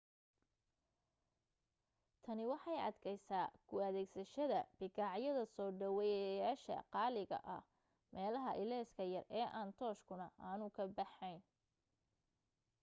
tani waxay adkaysaa ku adeegsashada bikaacyada soo dhaweeyayaasha qaaliga ah meelaha ilayska yar ee aan tooshkuna aanu ka baxayn